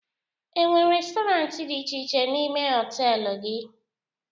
E nwere restọrant dị iche iche n'ime họtelu gị?